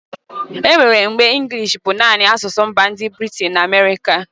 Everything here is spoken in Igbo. Enwere mgbe inglishi bu nani asụsụ mba ndi Britin na Amịirịka